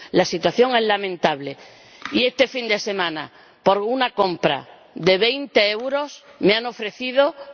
La situación es lamentable, y este fin de semana por una compra de 20 euros me han ofrecido, me han regalado...